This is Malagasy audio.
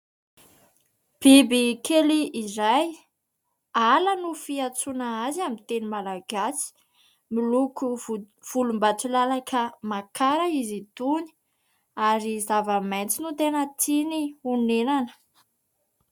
Biby kely iray. Ala no fiantsoana azy amin'ny teny malagasy, miloko volom-bato lalaka makara izy itony, ary zava-maitso no tena tiany honenana.